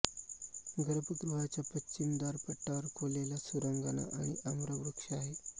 गर्भगृहाच्या पश्चिम द्वारपट्टावर कोरलेल्या सुरांगना आणि आम्रवृक्ष आहे